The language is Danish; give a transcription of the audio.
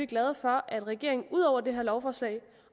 glade for at regeringen ud over dette lovforslag